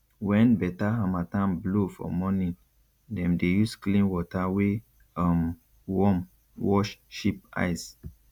when better harmattan blow for morning dem dey use clean water wey um warm wash sheep eyes